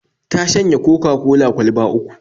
Ta shanye Coca-cola kwalba uku